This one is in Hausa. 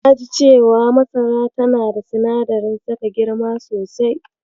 Na ji cewa masara tana da sinadarin saka girma sosai.